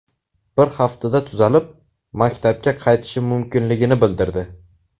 Bir haftada tuzalib, maktabga qaytishi mumkinligini bildirdi.